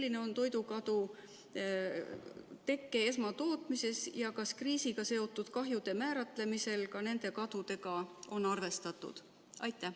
Kui suur on toidukadu esmatootmises ja kas kriisiga seotud kahjude määratlemisel ka nende kadudega on arvestatud?